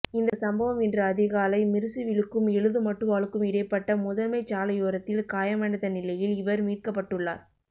இந்த சம்பவம் இன்று அதிகாலை மிருசுவிலுக்கும் எழுதுமட்டுவாழுக்கும் இடைப்பட்ட முதன்மைச் சாலையோரத்தில் காயமடைந்த நிலையில் இவர் மீட்கப்பட்டுள்ளார்